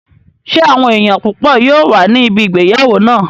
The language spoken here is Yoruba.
Ṣé àwọn èèyàn púpọ̀ yóò wà ní ibi ìgbéyàwó náà?